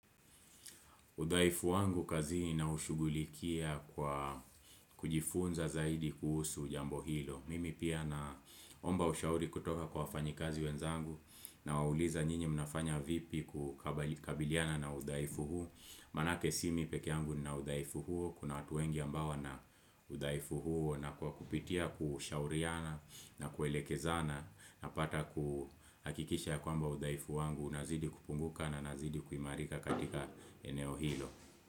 Udhaifu wangu kazini naushugulikia kwa kujifunza zaidi kuhusu jambo hilo. Mimi pia naomba ushauri kutoka kwa wafanyikazi wenzangu nawauliza nyinyi mnafanya vipi kukabiliana na udhaifu huo. Manake si mi pekeangu na udhaifu huo, kuna watu wengi ambao wana udhaifu huo na kwa kupitia kushauriana na kuelekezana Napata kuhakikisha kwamba udhaifu wangu unazidi kupunguka na nazidi kumarika katika eneo hilo.